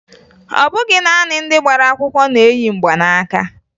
Ọ bụghị naanị ndị gbara akwụkwọ na-eyi mgbanaaka